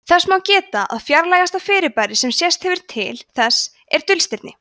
þess má geta að fjarlægasta fyrirbæri sem sést hefur til þessa er dulstirni